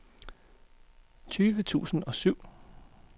tyve tusind og syv